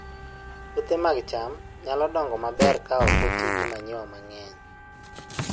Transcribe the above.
Puothe mag cham nyalo dongo maber ka ok oti gi manyiwa mang'eny